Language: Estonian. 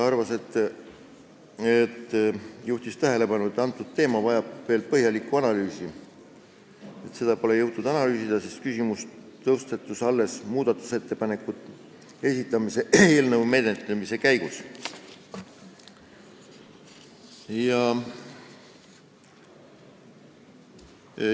Ta juhtis tähelepanu, et see teema vajab veel põhjalikku analüüsi, seda pole jõutud analüüsida, sest küsimus tõstatus alles muudatusettepaneku esitamisel, eelnõu menetlemise käigus.